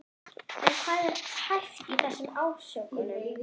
En hvað er hæft í þessum ásökunum?